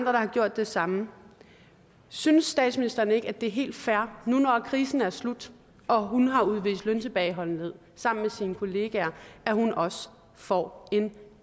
har gjort det samme synes statsministeren ikke at det er helt fair nu når krisen er slut og hun har udvist løntilbageholdenhed sammen med sine kollegaer at hun også får en